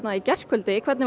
í gærkvöldi hvernig var